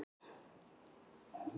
það hefur oft komið fyrir mig.